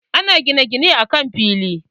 Ana gine-gine akan fili.